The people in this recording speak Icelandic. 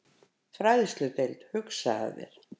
Fræðsludeild, hugsaðu þér!